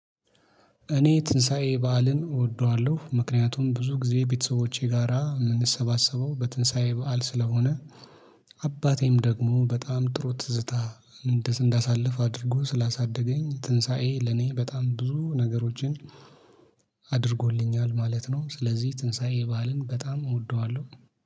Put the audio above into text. እኔ ትንሳኤ በዓልን እወደዋለሁ ምክንያቱም ብዙ ጊዜ ቤተሰቦቼ ጋራ የምንሰባሰበው በትንሳኤ በዓል ስለሆነ። አባቴም ደግሞ በጣም ጥሩ ትዝታ እንዳሳልፍ አድርጎ ስላሳደገኝ ትንሳኤ ለኔ በጣም ብዙ ነገሮችን። አድርጎልኛል ማለት ነው። ስለዚህ ትንሳኤ ባህልን በጣም እወደዋለሁ